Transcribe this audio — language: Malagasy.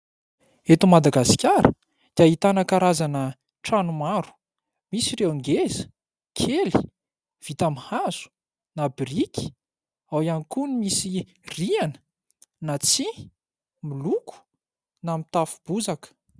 Eto Madagasikara dia ahitana karazana trano maro. Misy ireo ngeza, kely, vita amin'ny hazo na biriky. Ao ihany koa ny misy rihana na tsia miloko na mitafo bozaka.